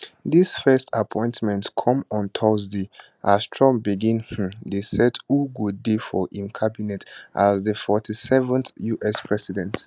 dis first appointment come on thursday as trump begin um dey set who go dey for im cabinet as di 47th us president